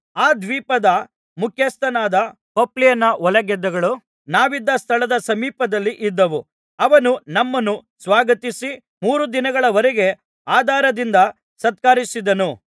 ಆ ದ್ವೀಪದ ಮುಖ್ಯಸ್ಥನಾದ ಪೊಪ್ಲಿಯನ ಹೊಲಗದ್ದೆಗಳು ನಾವಿದ್ದ ಸ್ಥಳದ ಸಮೀಪದಲ್ಲಿ ಇದ್ದವು ಅವನು ನಮ್ಮನ್ನು ಸ್ವಾಗತಿಸಿ ಮೂರು ದಿನಗಳವರೆಗೆ ಆದರದಿಂದ ಸತ್ಕರಿಸಿದನು